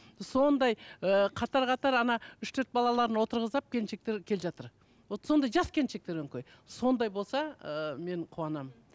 сондай ыыы қатар қатар үш төрт балаларын отырғызып алып келіншектер келе жатыр вот сондай жас келіншектер өңкей сондай болса ыыы мен қуанамын